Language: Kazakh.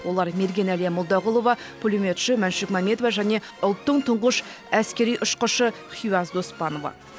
олар мерген әлия молдағұлова пулеметші мәншүк мәметова және ұлттың тұңғыш әскери ұшқышы хиуаз доспанова